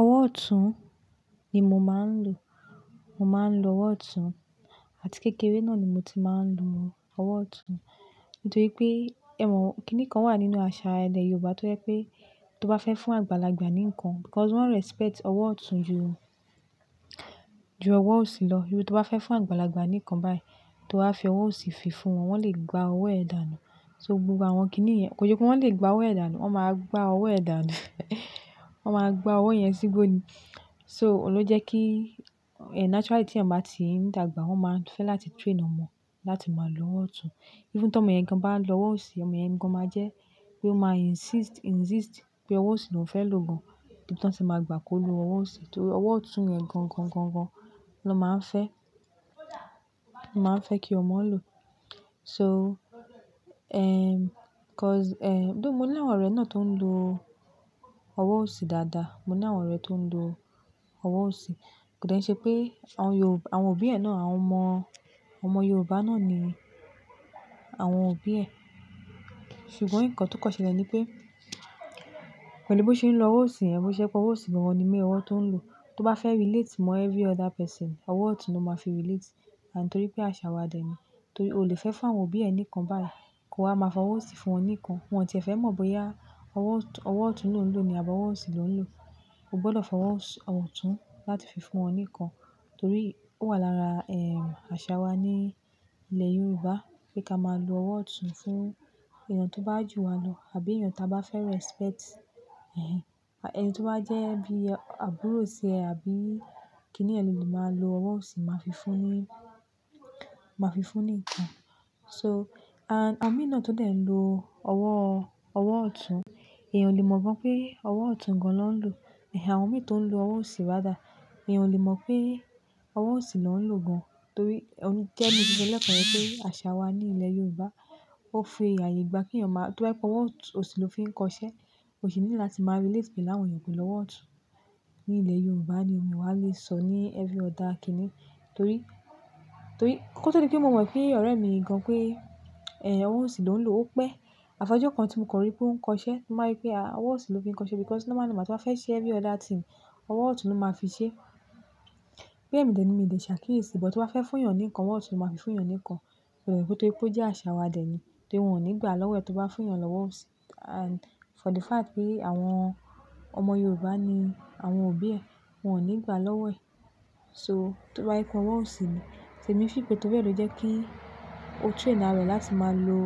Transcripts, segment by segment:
Ọwọ́ ọ̀tún ni mo máa ń lò. Mo máa ń lo ọwọ́ ọ̀tún àti kékeré náà ni mo ti máa ń lo ọwọ́ ọ̀tún. Nítorí pé e mo kìnì kan wà nínú àṣà ilẹ̀ Yorùbá tó jẹ́ pé tó bá fẹ́ fún àgbàlagbà ní nǹkan because wọ́n respect ọwọ́ ọ̀tún ju, ju ọwọ́ òsì lọ. Torí tó bá fẹ́ fún àgbàlagbà ní nǹkan báyìí, tó bá fẹ́ ọwọ́ òsì fi fún wọn, wọ́n lè gbá ọwọ́ ẹ dànù. So gbogbo àwọn kìnnìún yẹn kò ṣe pé wọ́n lè gbá ọwọ́ ẹ dànù, wọ́n máa gbá ọwọ́ ẹ dànù. Wọ́n máa gbá ọwọ́ yẹn sígbó ni. So òun ló jẹ́ ki, naturally tí ẹ̀gbọ́n bá ti ń dàgbà, wọ́n máa fẹ́ láti train ọmọ láti máa lo ọwọ́ ọ̀tún. Even ti ọmọ yẹn gan bá ń lo ọwọ́ òsì, ọmọ yẹn gan máa jẹ́ pé ó máa insist pé ọwọ́ òsì lóun fẹ́ lò gan. Ibi ti won ti máa gbà kí ó lo ọwọ́ òsì torí ọwọ́ ọ̀tún yẹn gan gan gan gan ni won máa ń fẹ́ kí ọmọ lo. So, because, though mo ní àwọn ọ̀rẹ́ náà tó ń lo ọwọ́ òsì dáadáa, mo ní àwọn ọ̀rẹ́ tó ń lo ọwọ́ òsì. Kò dẹ́ nṣe pé àwọn òbí e náà-- àwọn òbí ẹ náà, àwọn ọmọ Yorùbá náà ni àwọn òbí ẹ̀. Ṣùgbọ́n nǹkan tí kan ṣẹlẹ̀ ni pé pẹ̀lú bó ṣe ń lo ọwọ́ òsì yẹn, bó ṣe je pẹ́ ọwọ́ òsì gan lọ ní main owọ́ tó ń lò. Tó bá fẹ́ relate mọ every other person, ọwọ́ ọ̀tún ló máa fi relate. And torí pé àṣà wa dẹ̀ ni. Torí o lè fẹ́ fún àwọn òbí ẹni kan báyìí kí ó máa fọwọ́ òsì fún ọ oní kan. Wọ́n ò tíì fẹ́ mọ̀ bóyá ọwọ́ ọ̀tún ló ń lò ni àbí ọwọ́ òsì ló ń lò. O gbọ́dọ̀ fọwọ́ ọ̀tún láti fi fún ọ oní kan torí ó wà lára, àṣà wa ní ilẹ̀ Yorùbá pé ká máa lo ọwọ́ ọ̀tún fún ènìyàn tó bá jù wa lọ àbí ènìyàn tí a bá fẹ́ respect. Ẹni tó bá jẹ́ bí àbúrò rẹ àbí kínni rẹ nio le máa lo ọwọ́ òsì máa fi fún ni nkan. So, and àwọn mí náà tó dẹ̀ ń lo ọwọ́ ọ̀tún, èèyàn ò lè mọ̀ gan pé ọwọ́ ọ̀tún gan ni won ńlò. Àwọn mi tó ń lo ọwọ́ òsì rather, èèyàn ò lè mọ̀ pé ọwọ́ òsì lọ́ ń lò gan torí-- gẹ́gẹ́ bi mo se so lẹ́ẹ̀kan yẹn pé àṣà wa ní ilẹ̀ Yorùbá ó fi ààyè gba kí èèyàn máa-- tó bá fi ọwọ́ òsì ló fi ń kọ iṣẹ́, ò sì nílò láti máa relate pẹ̀lú àwọn ènìyàn pẹ̀lú ọwọ́ ọ̀tún ní ilẹ̀ Yorùbá ni omi wá lè sọ ní every other kíni torí, torí kó tó di pé mo mọ̀ pé ọ̀rẹ́ mi yìí gan, pé ọwọ́ òsì ló ń lò, ó pẹ́. Àfàájọ́ kan tí mo kọ rí pé ó ń kọ iṣẹ́, mo ba rí pé ọwọ́ òsì ló fi ń kọ iṣẹ́, because normal normal ti ba fẹ́ ṣe every other thing, ọwọ́ ọ̀tún ló máa fi ṣe. Bóyá èmi dẹ ni mio de ṣàkíyèsí, but tó bá fẹ́ fún èèyàn ní nǹkan, ọwọ́ ọ̀tún ló máa fi fún èèyàn ní nǹkan. Àbí nítorí pé ó jẹ́ àṣà wa dẹ̀ ni. Torí wọ́n ò ní gbà lọ́wọ́ ẹ tó bá fún èèyàn lọ́wọ́ òsì. And for the fact pé àwọn ọmọ Yorùbá ni àwọn òbí ẹ, wọ́n ò ní gbà lọ́wọ́ ẹ. So tó bá je pé ọwọ́ òsì ni, so èmi feel pé torí ẹ lò jẹ́ kí ó train àra ẹ̀ láti máa lo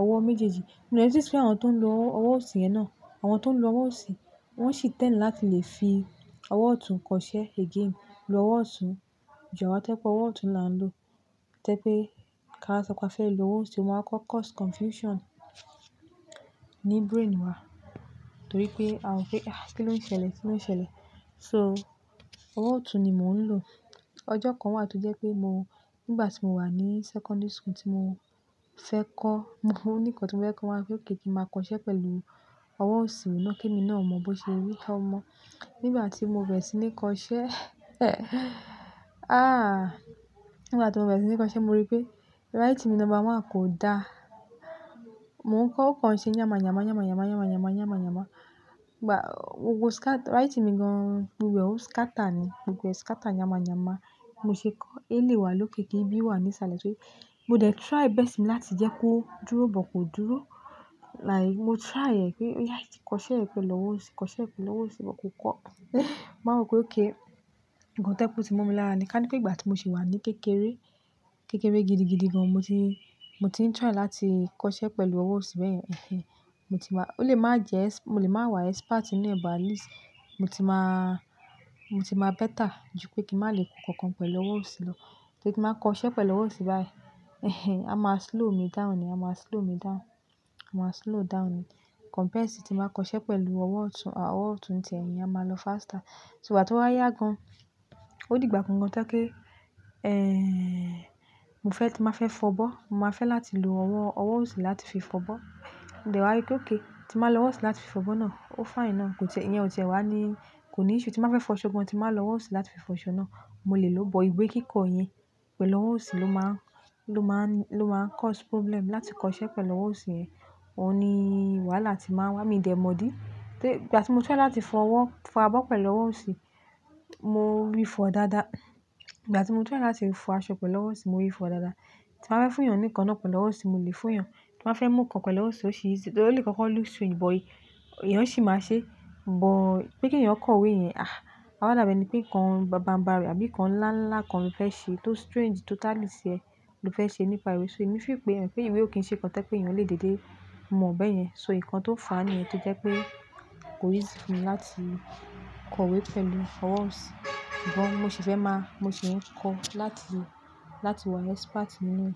ọwọ́ méjèèjì. Mo de notice pe àwọn tó ń lo ọwọ́ òsì yẹn náà. Àwọn tó ń lo ọwọ́ òsì, wọ́n sì tẹ́lẹ̀ láti lè fi ọwọ́ ọ̀tún kọ iṣẹ́ again. Lo ọwọ́ ọ̀tún ju àwa to je pé ọwọ́ ọ̀tún la ń lò. To je pé táa ba sọ pé a fẹ́ lo ọwọ́ òsì, ó máa koko cause confusion ní brain wa, torí pé a ma wo pe, kí ló ń ṣẹlẹ̀, kí ló ń ṣẹlẹ̀. So ọwọ́ ọ̀tún ni mò ń lò. Ọjọ́ kan wà tó jẹ́ pé mo nígbà tí mo wà ní secondary school tí mo fẹ́ kọ́, o ní nkan tí mo fẹ́ kọ́, wọ́n wa so pé okay kí n máa kọ iṣẹ́ pẹ̀lú ọwọ́ òsì náà kí èmi náà mọ bi o ṣe rí, ọmọ. Nígbà tí mo bẹ̀rẹ̀ sí ní kọ iṣẹ́, nígbà tí mo bẹ̀rẹ̀ sí ní kọ iṣẹ́, mo rí pé writing mi number one, kò dá. Mo ń kọ, ó kàn ṣé yánma-yánma, yánma-yánma, yánma-yánma, yánma-yánma. Gbogbo writing mi gan, gbogbo e, ó scatter ni, gbogbo e scatter yánma-yánma. Bi mo ṣe kọ, a lè wà lóòkè kí n B wà ní ìsàlẹ̀ torí mo dẹ̀ try best mi láti jẹ́ kó dúró, but kò dúró. Like mo try ẹ̀ pé, oya, kọ iṣẹ́ yìí pẹ̀lú ọwọ́ òsì, kọ iṣẹ́ yìí pẹ̀lú ọwọ́ òsì, but kò kọ. Mo wa wo pé òkay, nkan to je pé tí mo mi mí lára ni, ká ní pé ìgbà tí mo sì wà ní kékeré, kékeré gidi gidi gan, mo ti ń try láti kọ iṣẹ́ pẹ̀lú ọwọ́ òsì bẹ́yen mo ti ma-- ó lè máa jẹ-- mo lè máa wà expert nínú ẹ̀, but at least. Mo ti máa better ju pé kí n má lè kọ nǹkan pẹ̀lú ọwọ́ òsì lọ. Torí tí mo ba kọ iṣẹ́ pẹ̀lú ọwọ́ òsì báyìí, á máa slow me down ni, á máa slow me down. A máa slow down ni. Compared sí tí mo máa kọ iṣẹ́ pẹ̀lú ọwọ́ ọ̀tún, ọwọ́ ọ̀tún ni tie, ìyẹn á máa lọ faster. Ìgbà tí ó wá yá gan, ó dìgbà kan gan toje pe, tí nbá fẹ́ fọ abọ́, màá fẹ́ láti lo ọwọ́, ọwọ́ òsì láti fi fọ abọ́. Mo de wá rí pé okay, tí n bá lo ọwọ́ òsì láti fi fọ abọ́ náà, ó fine náà. Ìyẹn ò tiẹ́ wá ní, kò ní iṣẹ́ tí nbá fẹ́ fọ aṣọ gan, tí nbá lo ọwọ́ òsì láti fi fọ aṣọ náà. Mo lè lò ó, but ìwé kíkọ yẹn pẹ̀lú ọwọ́ òsì ló máa n cause problem láti kọ iṣẹ́ pẹ̀lú ọwọ́ òsì yẹn. Óun ni wàhálà ti máa wá mi dẹ̀ mọ̀ dí. Ìgbà tí mo try láti fọ abọ́ pẹ̀lú ọwọ́ òsì, mo rí fọ dáadáa. Ìgbà tí mo fẹ́ láti fọ aṣọ pẹ̀lú ọwọ́ òsì, mo rí fọ dáadáa. Tí màá fẹ́ fún èèyàn ní nǹkan náà pẹ̀lú ọwọ́ òsì, mo lè fún èèyàn. Tí màá fẹ́ mú nǹkan pẹ̀lú ọwọ́ òsì, o sí easy. Torí o le koko look strange, but èèyàn sì máa ṣe. But pé kí èèyàn kọ ìwé yẹn o ma wa dàbí ení pé nǹkan ńlá kan baba-ńbarì àbí nǹkan ńlá ńlá kan ló fẹ́ ṣe tó strange totally sí ẹ ló fẹ́ ṣe nípa ìwé. So èmi fì pé, emo pé ìwé ò kí ń ṣe nǹkan to je pé èèyàn lè dédé mọ̀ ọ́ bẹ́ẹ̀ yẹn. So nǹkan tó fá nìyẹn tó jẹ́ pé kò easy fún mi láti kọ ìwé pẹ̀lú ọwọ́ òsì. But mo sì fẹ́ máa, mo sì ń kọ láti, láti wà expert nínú.